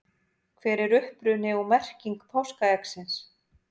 hver er uppruni og merking páskaeggsins